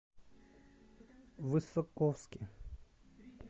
высоковске